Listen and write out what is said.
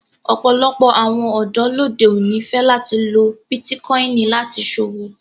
Ọpọlọpọ̀ awọn ọdọ lódè oní fẹ lati lọ Bitikòinì láti ṣọwọ.